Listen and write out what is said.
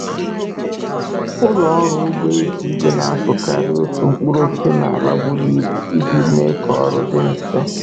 Ụlọ ọrụ ugbo eji igwe na-azụkarị otu ụdị mkpụrụosisi n’ala buru ibu iji mee k'ọrụ dị mfe